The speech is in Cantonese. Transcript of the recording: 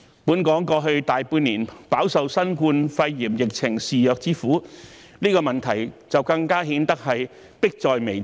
本港過去大半年飽受新冠肺炎疫情肆虐之苦，醫療專業人手不足的問題更顯迫在眉睫。